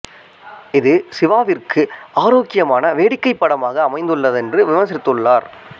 இது சிவாவிற்கு ஆரோக்கியமான வேடிக்கைப் படமாக அமைந்துள்ளது என்று விமர்சித்துள்ளது